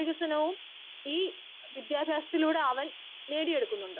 Speaker 1 വികസനവും ഈ വിദ്യാഭ്യാസത്തിലൂടെ അവൻ നേടിയെടുക്കുന്നുണ്ട്.